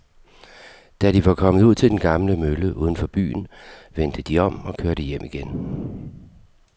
Da de var kommet ud til den gamle mølle uden for byen, vendte de om og kørte hjem igen.